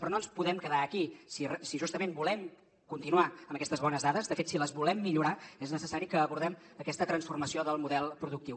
però no ens podem quedar aquí si justament volem continuar amb aquestes bones dades de fet si les volem millorar és necessari que abordem aquesta transformació del model productiu